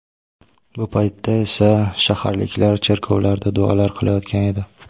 Bu paytda esa shaharliklar cherkovlarda duolar qilayotgan edi.